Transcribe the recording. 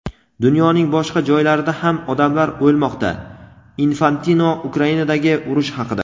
Dunyoning boshqa joylarida ham odamlar o‘lmoqda – Infantino Ukrainadagi urush haqida.